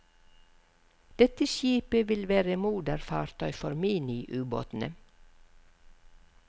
Dette skipet vil være moderfartøy for miniubåtene.